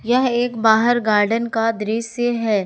यह एक बाहर गार्डन का दृश्य है।